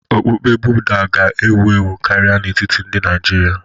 Okpukpe Buda ga-ewu ewu karịa n'etiti ndị Naijiria.